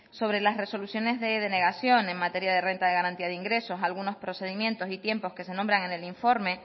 sobre las resoluciones de denegación en materia de renta de garantía de ingresos algunos procedimientos y tiempos que se nombran en el informe